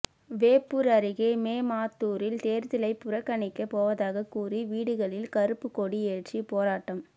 வேப்பூர் அருகே மேமாத்தூரில் தேர்தலை புறக்கணிக்க போவதாக கூறி வீடுகளில் கருப்பு கொடி ஏற்றி போராட்டம்